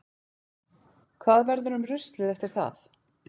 Hvað verður um ruslið eftir það?